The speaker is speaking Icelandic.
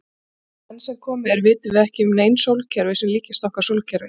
Enn sem komið er vitum við ekki um nein sólkerfi sem líkjast okkar sólkerfi.